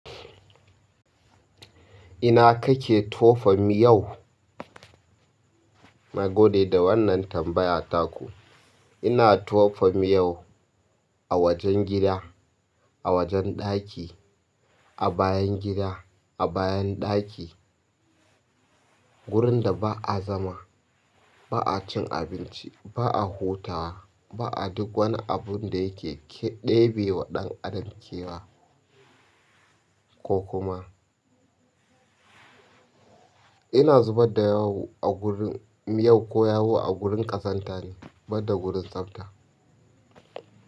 Ina kake tofa miyau? Na gode da wannan tambaya taku. Ina tofam yau a wajen gida, a wajen ɗaki, a bayan gida, a bayan ɗaki, wurin da ba a zama, ba a cin abinci, ba a hutawa, ba a duk wani abun da yake ɗebe wa ɗan adam kewa ko kuma. Ina zubadda yawu a gurin, miyau ko yawu a gurin ƙazanta ne, badda gurin tsafta.